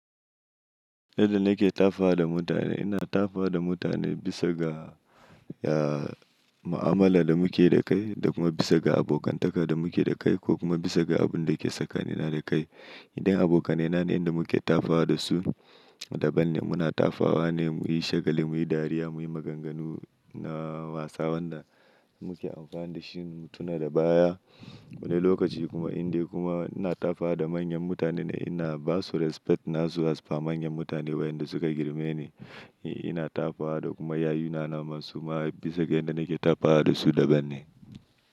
Yadda nake tafawa da mutane, ina tafawa da mutane bisa ga, ya, ma'amala da muke yi da kai da kuma bisa ga abokantaka da muke da kai ko kuma bisa ga abun da ke tsakanina da kai. Idan abokanai na ne inda muke tafawa da su daban ne. Muna tafawa ne muyi shagali, muyi dariya, muyi maganganu na wasan da muke amfani da shi mu tuna da baya wani lokaci kuma inda kuma ina tafawa da manyan mutane ina ba su respect na su asfa manyan mutane waƴanda suka girme ni. Ina tafawa da kuma yayuna na masu ma bisa ga inda nake tafawa da su daban ne.